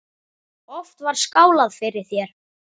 Oft var skálað fyrir þér.